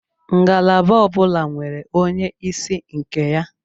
Ngalaba ọbula nwere onye isi nke ya